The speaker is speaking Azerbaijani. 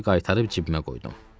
Pulları qaytarıb cibimə qoydum.